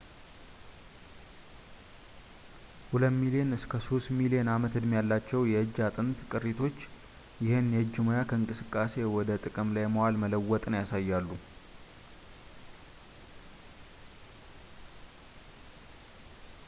ሁለት ሚሊዮን እስከ ሶስት ሚሊዮን ዓመት ዕድሜ ያላቸው የእጅ አጥንት ቅሪቶች ይህን የእጅ ሙያ ከእንቅስቃሴ ወደ ጥቅም ላይ ማዋል መለወጥን ያሳያሉ